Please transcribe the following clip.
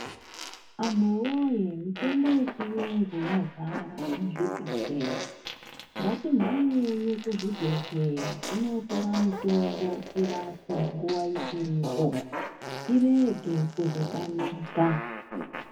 Anhuwoye mitombo yechiyungu yazara muzvibhedhleya, ngatimhanyei kuzvibhedhleya tinootora mitombo tirapwe nguwa ichiripo tirege kuzotamika.